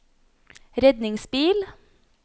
redningsbil